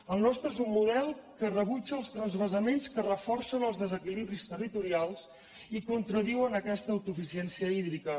el nostre és un model que rebutja els transvasaments que reforcen els desequilibris territorials i contradiuen aquesta autosuficiència hídrica